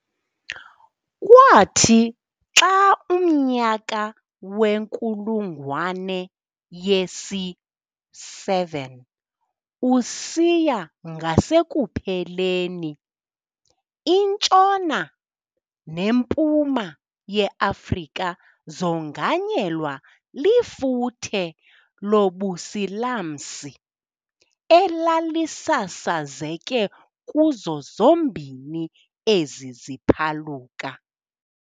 Kwathi xa umnyaka wenkulungwane yesi-7 usiya ngasekupheleni, iNtshona, neMpuma ye-Afrika zonganyelwa lifuthe lobusilamsi elalisasazeke kuzo zombini ezi ziphaluka.